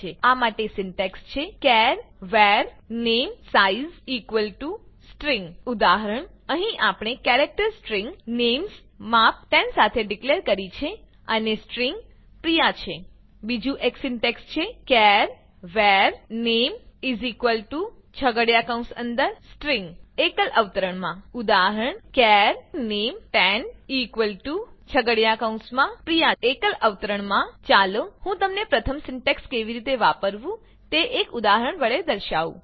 આ માટે સિન્ટેક્સ છે ચાર var namesize સ્ટ્રીંગ ઉદાહરણ અહીં આપણે કેરેક્ટર સ્ટ્રીંગ નેમ્સ માપ ૧૦ સાથે ડીકલેર કરી છે અને સ્ટ્રીંગ પ્રિયા છે બીજું એક સિન્ટેક્સ છે char var name S T R I N g એકલ અવતરણમાં ઉદાહરણ char names10 P R I Y a એકલ અવતરણમાં ચાલો હું તમને પ્રથમ સિન્ટેક્સ કેવી રીતે વાપરવું તે એક ઉદાહરણ વડે દર્શાઉં